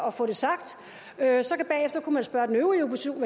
at få det sagt bagefter kunne man så spørge den øvrige opposition